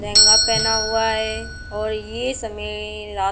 पेहना हुआ है और समय रा --